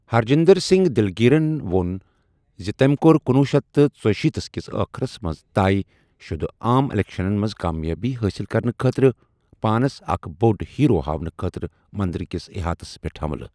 ہرجندر سنگ دلگیرن وۄن زِ تٔمۍ کوٚر کنۄہ شیتھ تہٕ ژُشیٖتھ ِکِس آخرس منٛز طے شدٕ عام اِلیکشنَن منٛز کامیٲبی حٲصِل کرنہٕ خٲطرٕ پانَس اکھ بوٚڑ ہیرو ہاونہٕ خٲطرٕ مندر کِس احاطس پٮ۪ٹھ حملہٕ۔